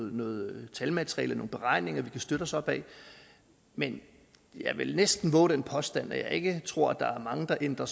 noget talmateriale nogle beregninger vi kan støtte os op ad men jeg vil næsten vove den påstand at jeg ikke tror at der er mange der ændrer